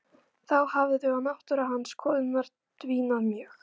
Þá hafði og náttúra hans til konunnar dvínað mjög.